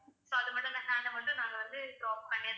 so அது மட்டும் hand மட்டும் நாங்க வந்து crop பண்ணி